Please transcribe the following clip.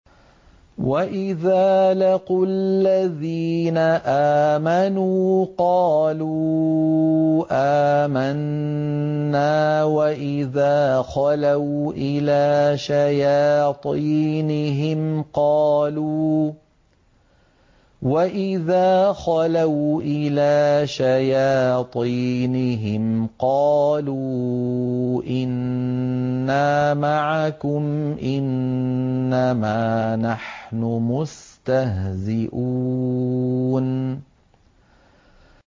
وَإِذَا لَقُوا الَّذِينَ آمَنُوا قَالُوا آمَنَّا وَإِذَا خَلَوْا إِلَىٰ شَيَاطِينِهِمْ قَالُوا إِنَّا مَعَكُمْ إِنَّمَا نَحْنُ مُسْتَهْزِئُونَ